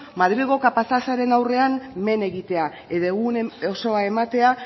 madrilgo kapatazaren aurrean men egitea edo egun osoa ematea